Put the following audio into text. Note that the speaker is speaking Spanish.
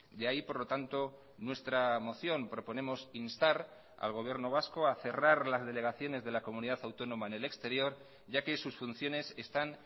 de ahí por lo tanto nuestra moción proponemos instar al gobierno vasco a cerrar las delegaciones de la comunidad autónoma en el exterior ya que sus funciones están